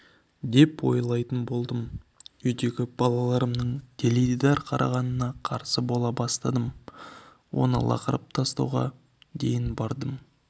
деп ойлайтын болдым үйдегі балаларымның теледидар қарағанына қарсы бола бастадым оны лақтырып тастауға дейін бардым